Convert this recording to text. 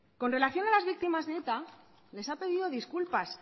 con relación a las víctimas de eta les ha pedido disculpas